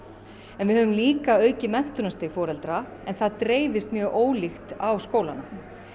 en við höfum líka aukið menntunarstig foreldra en það dreifist mjög ólíkt á skólana